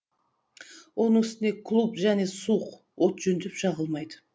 оның үстіне клуб және суық от жөндеп жағылмайды